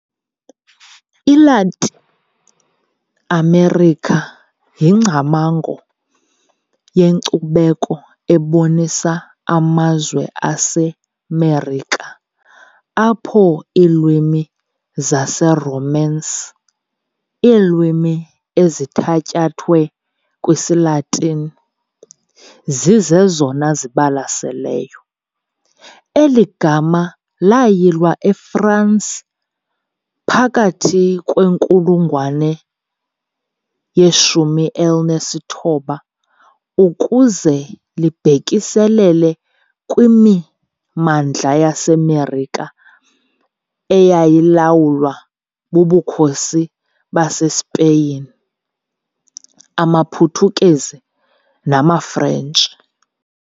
ILatin America yingcamango yenkcubeko ebonisa amazwe aseMerika apho iilwimi zesiRomance - iilwimi ezithatyathwe kwisiLatini - zizezona zibalaseleyo. Eli gama layilwa eFransi phakathi kwinkulungwane ye-19 ukuze libhekiselele kwimimandla yaseMerika eyayilawulwa bubukhosi baseSpeyin, amaPhuthukezi namaFrentshi.